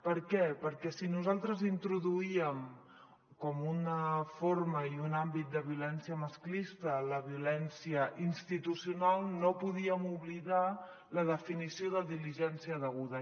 per què perquè si nosaltres introduíem com una forma i un àmbit de violència masclista la violència institucional no podíem oblidar la definició de diligència deguda